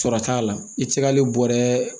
Sɔrɔ t'a la i ti se ka hali bɔrɛ